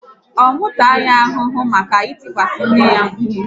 Ọ mụ taa ya ahụhụ maka itikwasi nne ya mkpu?